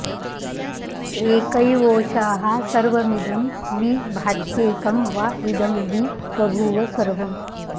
एकैवोषाः सर्वमिदं वि भात्येकं वा इदं वि बभूव सर्वम्